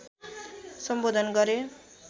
सम्बोधन गरे